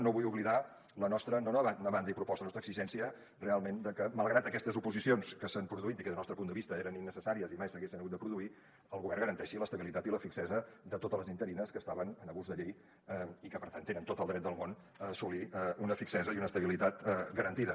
no vull oblidar la nostra no demanda i proposta la nostra exigència realment de que malgrat aquestes oposicions que s’han produït i que des del nostre punt de vista eren innecessàries i mai s’haguessin hagut de produir el govern garanteixi l’estabilitat i la fixesa de totes les interines que estaven en abús de llei i que per tant tenen tot el dret del món a assolir una fixesa i una estabilitat garantida